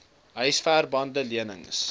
huisver bande lenings